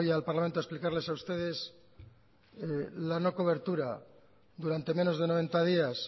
al parlamento a explicarle a ustedes la no cobertura durante menos de noventa días